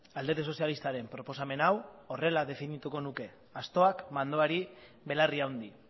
alderdi sozialistaren proposamen hau horrela definituko nuke astoak mandoari belarri handi